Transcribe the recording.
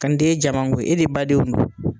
ja mango e de badenw don